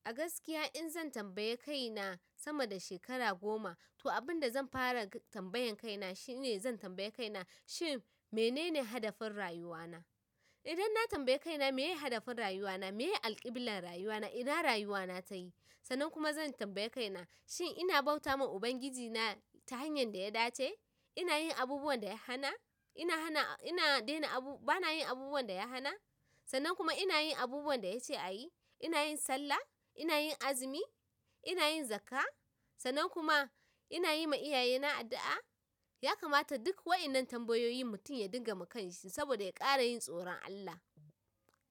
A gaskiya in zan tambaye kaina sama da shekara goma, to abin da zan fara tambayan kaina shine zan tambaye kaina shi menene hadafin rayuwana? Idan na tambaye kaina meye hadafin rayuwana, meye alkibilar rayuwana ina rayuwana tayi. Sannan kuma zan tambayi kaina shin ina bauta ma Ubangiji na ta hanyar da ya dace? Ina yin abubuwan da ya hana? Ina hana, ina dena abu, bana yin abubuwan da ya hana? Sannan kuma ina yin abubuwan da ya ce a yi? Ina yin sallah? Ina yin azumi? Ina yin zakka? Sannan kuma ina yi ma iyaye na addu'a? Ya kamata duk wa'inan tambayoyin mutum ya dinga ma kan shi saboda ya ƙara yin tsoron Allah.